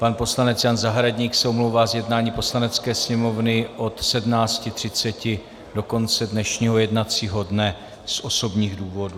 Pan poslanec Jan Zahradník se omlouvá z jednání Poslanecké sněmovny od 17.30 do konce dnešního jednacího dne z osobních důvodů.